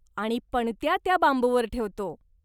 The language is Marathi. आणि पणत्या त्या बांबूवर ठेवतो.